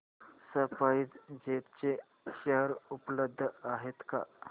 spice jet चे share उपलब्ध आहेत का